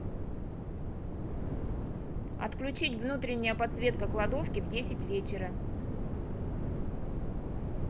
отключить внутренняя подсветка кладовки в десять вечера